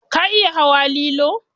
Ka iya hawa lilo?